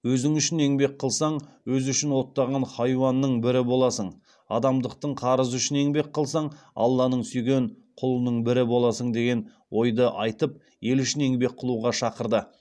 өзің үшін еңбек қылсаң өзі үшін оттаған хайуанның бірі боласың адамдықтың қарызы үшін еңбек қылсаң алланың сүйген құлының бірі боласың деген ойды айтып ел үшін еңбек қылуға шақырды